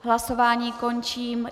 Hlasování končím.